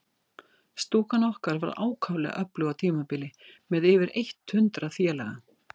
Stúkan okkar var ákaflega öflug á tímabili, með yfir eitt hundrað félaga.